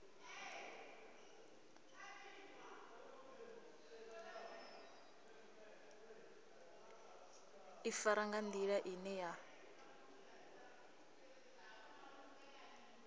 ḓifara nga nḓila ine ya